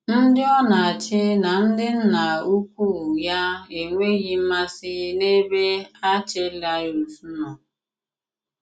Ndị ọ na-àchì na ndị nnà ùkwù ya enweghị mmàsị n'ebe Àrchèlàus nọ